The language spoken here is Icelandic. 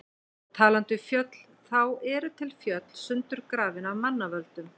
Og talandi um fjöll, þá eru til fjöll sundurgrafin af manna völdum.